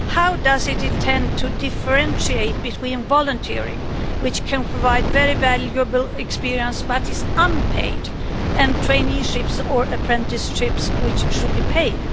How does it intend to differentiate between volunteering which can provide very valuable experience but is unpaid and traineeships or apprenticeships, which should be paid?